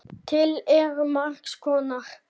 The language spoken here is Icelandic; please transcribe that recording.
Til eru margs konar hattar.